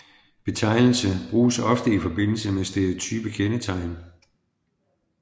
Betegnelse bruges ofte i forbindelse med stereotype kendetegn